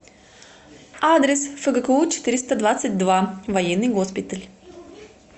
адрес фгку четыреста двадцать два военный госпиталь